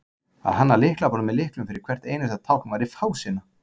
að hanna lyklaborð með lyklum fyrir hvert einasta tákn væri fásinna